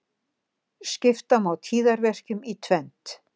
Skipta má tíðaverkjum í tvennt.